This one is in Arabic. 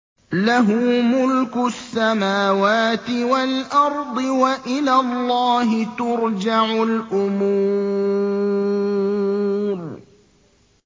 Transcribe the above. لَّهُ مُلْكُ السَّمَاوَاتِ وَالْأَرْضِ ۚ وَإِلَى اللَّهِ تُرْجَعُ الْأُمُورُ